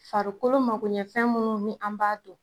Farikolo makoɲɛfɛn minnu ni an b'a dun.